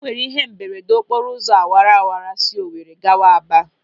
E nwere ihe mberede n'okporo ụzọ awara wara si Owere gawa Aba.